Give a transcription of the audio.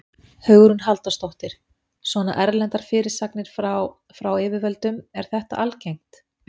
Hugrún Halldórsdóttir: Svona erlendar fyrirspurnir frá, frá yfirvöldum, er þetta algengt?